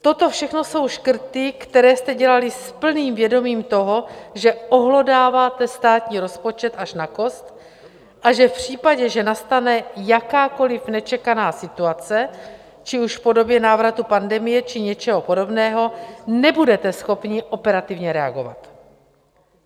Toto všechno jsou škrty, které jste dělali s plným vědomím toho, že ohlodáváte státní rozpočet až na kost, a že v případě, že nastane jakákoliv nečekaná situace, ať už v podobě návratu pandemie, či něčeho podobného, nebudete schopni operativně reagovat.